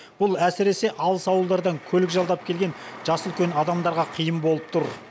бұл әсіресе алыс ауылдардан көлік жалдап келген жасы үлкен адамдарға қиын болып тұр